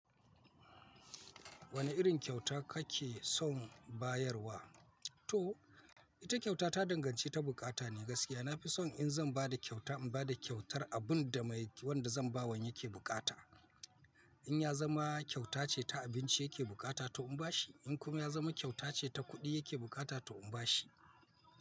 Wane irin kyauta kake son bayarwa? To, ita kyauta ta danganci ta bukata ne gaskiya. Nafi son in zan ba da kyauta, in ba da kyautar abun da mai wanda zan ba wan yake bukata. In yazama kyauta ce ta abinci yake bukata to in bashi, in kuma ya zama kyauta ce ta kuɗi yake bukata to in bashi.